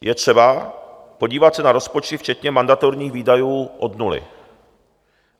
Je třeba podívat se na rozpočty včetně mandatorních výdajů od nuly.